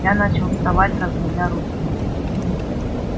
я начал вставать разводя руки